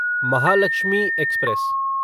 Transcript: Mahalakshmi express